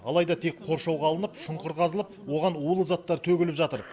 алайда тек қоршауға алынып шұңқыр қазылып оған улы заттар төгіліп жатыр